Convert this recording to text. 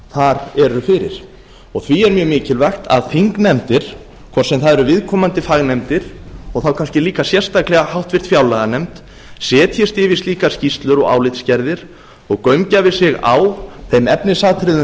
þar eru fyrir því er mjög mikilvægt að þingnefndir hvort sem það eru viðkomandi fagnefndir og þá kannski líka sérstaklega háttvirtri fjárlaganefnd setjist yfir slíkar skýrslur og álitsgerðir og gaumgæfi sig á þeim efnisatriðum